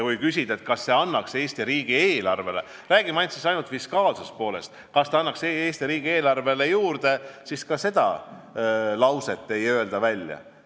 Kui küsida, kas see annaks Eesti riigi eelarvele – räägime siis ainult fiskaalsest poolest – midagi juurde, siis ka seda ei öelda välja.